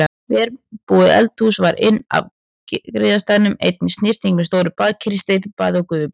Vel búið eldhús var inn af griðastaðnum, einnig snyrting með stóru baðkeri, steypibaði og gufubaði.